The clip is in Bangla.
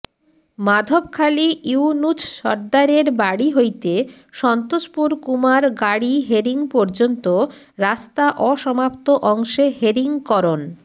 মাধবখালী ইউনুছ সর্দ্দারের বাড়ি হইতে সন্তোষপুর কুমার গাড়ী হেরিং পর্যন্ত রাস্তা অসমাপ্ত অংশে হেরিং করন